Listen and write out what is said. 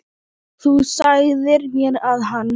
Þú sagðir mér að hann.